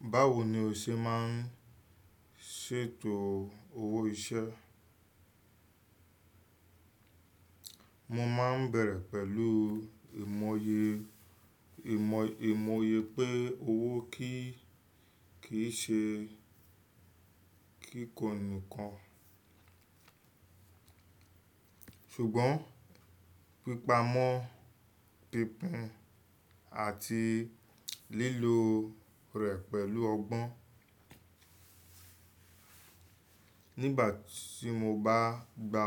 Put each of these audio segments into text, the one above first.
Báwo ni o ṣe máa ń ṣètò owó iṣẹ́? Mo máa ń bẹ̀rẹ̀ pẹ̀lú ìmọye, ìmọ̀, ìmọye pé owó kíì, kì í ṣe kíkọ nìkan. Ṣùgbọ́n pípamọ́ pínpín àti lílo rẹ̀ pẹ̀lú ọgbọ́n. Nígbà tí mo bá gba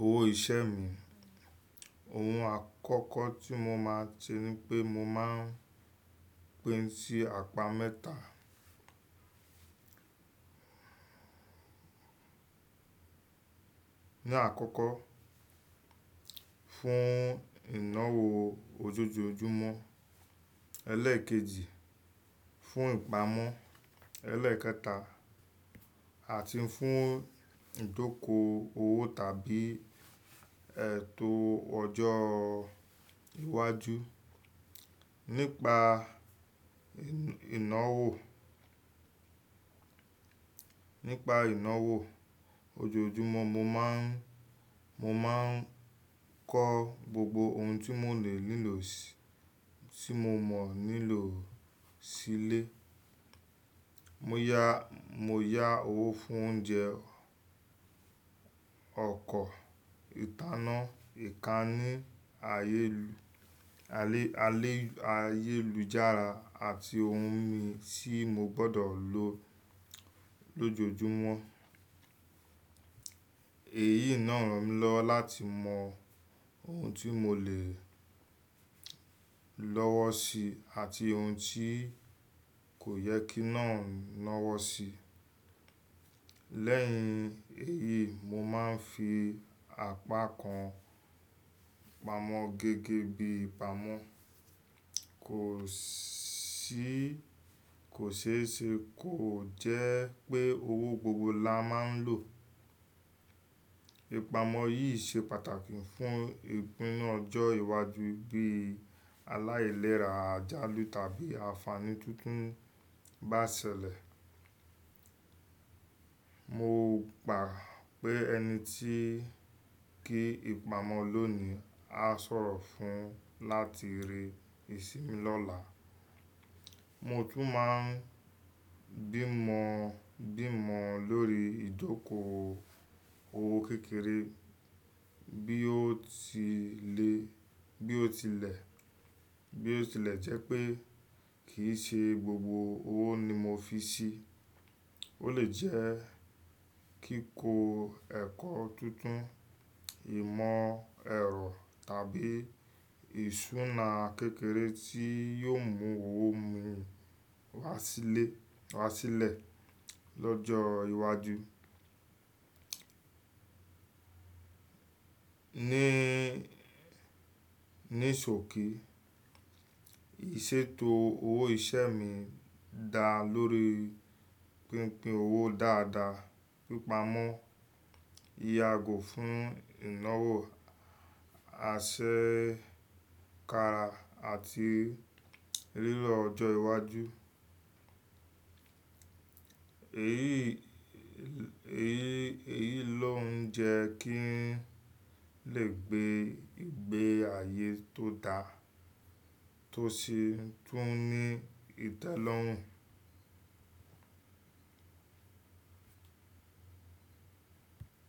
owó ìṣẹ́ mi, ohun àkọ́kọ́ tí mo máa ṣe ni pé mo máa pín sí apá mẹ́ta. Ní àkọ́kọ́, fún ìnáwó ojoojúmọ́, ẹlẹ́ẹ̀kejì, fún ìpamọ́, ẹlẹ́ẹ̀kẹta, àti fún ìjókòó owó tàbí ètò ọjọ́ iwájú. Nípa ìnáwó, nípa ìnáwó ojoojúmọ́ mo má ń, mo máa ń kọ́ gbogbo ohun tí mo lè nílò sí, tí mo mọ̀ nílò sílé. Mo yá, mo yá owó fún oúnjẹ, ọkọ̀, ìtanná, ìkànnì ayélujára àti ohun mi tí mo gbọdọ̀ lò lójoojúmọ́. Èyí náà ń lọ láti mọ ohun tí mo lè lọ́wọ́ si àti ohun tí kò yẹ kí náà lọ́wọ́ si. Lẹ́yìn èyí, mo máa ń fi apá kan pamọ́ gẹ́gẹ́ bí ìpamọ́. Kò ṣí, kò ṣe é ṣe, kò jẹ́ pé owó gbogbo la máa ń lò. Ìpamọ́ yìí ṣe pàtàkì fún ìpínu ọjọ́ iwájú bí alailera, àjálù tàbí àfààní tuntun bá ṣẹlẹ̀. Mo gbà pé ẹni tí kí ìpamọ́ lónìí á sọ̀rọ̀ fún láti rí ìsinmi lọ́la. Mo tún máa ń bímọ, bímọ lórí ìjókòó owó kékeré bí ó ti le, bí ó tilẹ̀, bí ó tilẹ̀ jẹ́ pé kì í ṣe gbogbo owó ni mo fi ṣí. Ó lè jẹ́ kíkó ẹ̀kọ́ tuntun, ìmọ̀ ẹ̀rọ tàbí ìṣúná kékeré tí yóò mú owó mi wá síle, wá sílẹ̀ lọ́jọ́ iwájú. Ni, ní sòkí, ìṣètò owó ìṣẹ́ mi dá lórí pínpín owó dáadáa, pípamọ́, ìyàgọ́ fún ìnáwó, àṣẹ káàra àti lílọ ọjọ́ iwájú. Èyí, èyí, èyí ló ń jẹ́ kí n lè gbé, gbé àyé tó dáa tó ṣe, tó ní ìtẹ́lọ́run.